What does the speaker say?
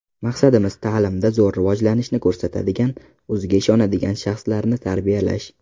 Maqsadimiz ta’limda zo‘r rivojlanishni ko‘rsatadigan, o‘ziga ishonadigan shaxslarni tarbiyalash.